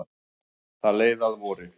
Það leið að vori.